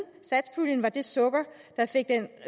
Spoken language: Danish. satspuljen var det sukker der fik den